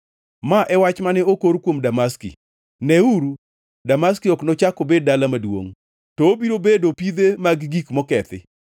Ma e wach mane okor kuom Damaski: “Neuru, Damaski ok nochak obed dala maduongʼ, to obiro bedo pidhe mag gik mokethi.